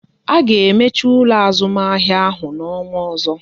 A ga emechi ụlọ azụmahịa ahụ n'ọnwa ọzọ